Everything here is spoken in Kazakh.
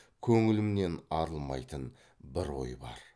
көңілімнен арылмайтын бір ой бар